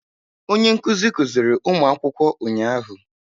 Onye nkuzi kuziri ụmụ akwụkwọ ụnyahụ.